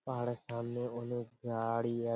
পাহাড়ের সামনে অনেক গাড়ি আ--